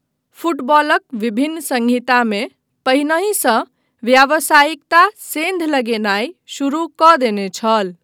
फुटबॉलक विभिन्न संहितामे पहिनहि सँ व्यावसायिकता सेन्ध लगेनाय शुरू कऽ देने छल।